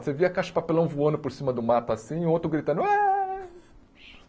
Você via a caixa de papelão voando por cima do mato assim e o outro gritando Eh.